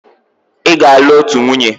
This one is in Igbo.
Ị ga-alụ otu nwunye!